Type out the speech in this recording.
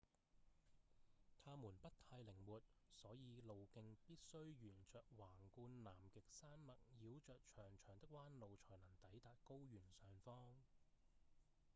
它們不太靈活所以路徑必須沿著橫貫南極山脈繞著長長的彎路才能抵達高原上方